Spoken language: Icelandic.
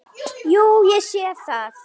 Jú, ég sé það.